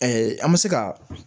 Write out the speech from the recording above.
an bɛ se ka